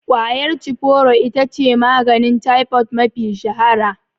Ƙwayar cifuro itace maganin taifod mafi shahara